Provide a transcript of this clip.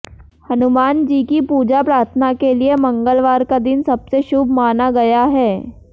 हनुमान जी की पूजा प्रार्थना के लिए मंगलवार का दिन सबसे शुभ माना गया है